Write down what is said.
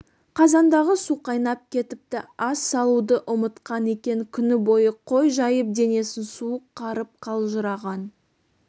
қазандағы су қайнап кетіпті ас салуды ұмытқан екен күні бойы қой жайып денесін суық қарып қалжыраған